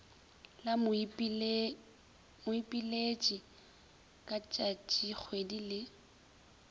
la moipiletši ka tšatšikgwedi le